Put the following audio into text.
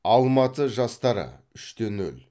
алматы жастары үш те нөл